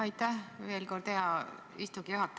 Aitäh veel kord, hea istungi juhataja!